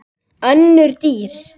Önnur dýr